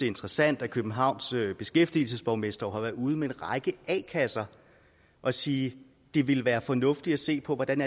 interessant at københavns beskæftigelseborgmester har været ude med en række a kasser og sige at det vil være fornuftigt at se på hvordan